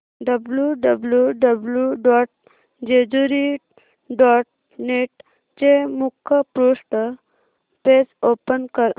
W W W dot Jejuri dot net चे मुखपृष्ठ page open कर